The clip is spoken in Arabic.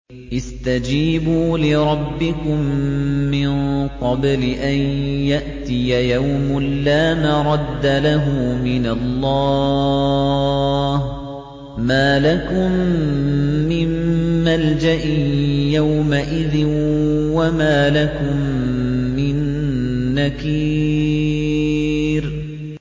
اسْتَجِيبُوا لِرَبِّكُم مِّن قَبْلِ أَن يَأْتِيَ يَوْمٌ لَّا مَرَدَّ لَهُ مِنَ اللَّهِ ۚ مَا لَكُم مِّن مَّلْجَإٍ يَوْمَئِذٍ وَمَا لَكُم مِّن نَّكِيرٍ